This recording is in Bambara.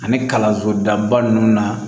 Ani kalanso daba ninnu na